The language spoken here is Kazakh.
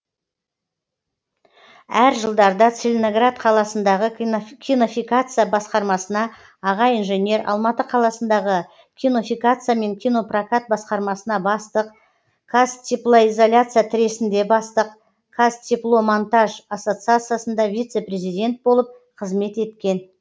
әр жылдарда целиноград қаласындағы кинофикация басқармасына аға инженер алматы қаласындағы кинофикация мен кинопрокат басқармасына бастық қазтеплоизоляция тресінде бастық қазтепломонтаж ассоциациясында вице президент болып қызмет еткен